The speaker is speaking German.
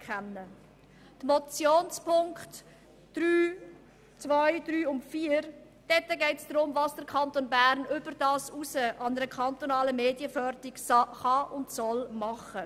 In den Motionspunkten 2, 3 und 4 geht es darum, was der Kanton Bern darüber hinaus an kantonaler Medienförderung leisten kann.